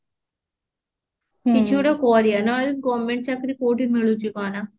ହଁ କିଛି ଗୋଟେ କରିବା ନହେଲେ government ଚାକିରି କୋଉଠି ମିଳୁଛି କହ ନା